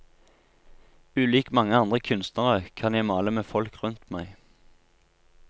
Ulik mange andre kunstnere kan jeg male med folk rundt meg.